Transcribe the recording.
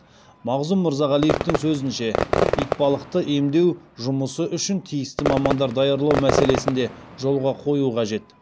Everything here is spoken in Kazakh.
мағзұм мырзағалиевтің сөзінше итбалықты емдеу жұмысы үшін тиісті мамандар даярлау мәселесін де жолға қою қажет